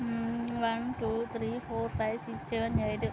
who one two three four five six seven eight --